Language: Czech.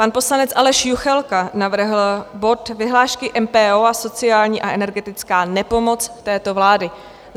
Pan poslanec Aleš Juchelka navrhl bod Vyhlášky MPO a sociální a energetická nepomoc této vlády.